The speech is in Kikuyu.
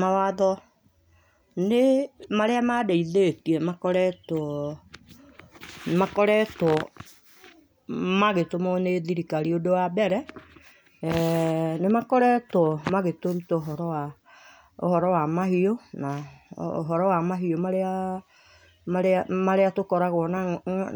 Mawatho nĩ marĩa mandeĩthĩtie makoretwo makoretwo magĩtũmũo nĩ thirikari ũndũ wa mbere eeh nĩmakoretwo magĩtũrũta ũhora wa ũhoro wa mahiũ na ũhoro wa mahĩũ marĩa marĩa tũkoragwo